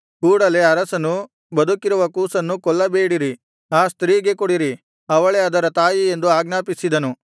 ಕೂಡಲೇ ಅರಸನು ಬದುಕಿರುವ ಕೂಸನ್ನು ಕೊಲ್ಲಬೇಡಿರಿ ಆ ಸ್ತ್ರೀಗೆ ಕೊಡಿರಿ ಅವಳೇ ಅದರ ತಾಯಿ ಎಂದು ಆಜ್ಞಾಪಿಸಿದನು